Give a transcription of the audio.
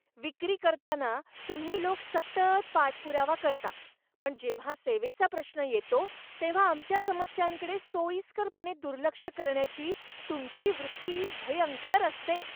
विक्री करताना तुम्ही लोक सतत पाठपुरावा करता, पण जेव्हा सेवेचा प्रश्न येतो तेव्हा आमच्या समस्यांकडे सोयीस्करपणे दुर्लक्ष करण्याची तुमची वृत्ती भयंकर असते.